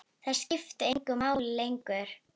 Það skipti engu máli lengur.